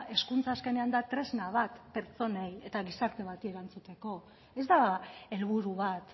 hezkuntza azkenean da tresna bat pertsonei eta gizarte bati erantzuteko ez da helburu bat